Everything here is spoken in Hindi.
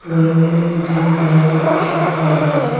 में ग्रीन कलर का कुछ लिखा हुआ हैं।